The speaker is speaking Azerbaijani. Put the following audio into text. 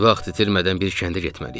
Vaxt itirmədən bir kəndə getməliyik.